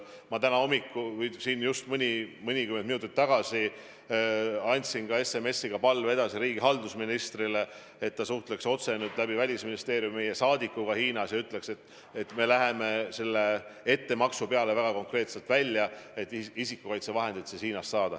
Ma mõnikümmend minutit tagasi andsin ka SMS-iga palve edasi riigihalduse ministrile, et ta suhtleks nüüd Välisministeeriumi kaudu otse meie saadikuga Hiinas ja ütleks, et me läheme selle ettemakse peale väga konkreetselt välja, et isikukaitsevahendeid Hiinast saada.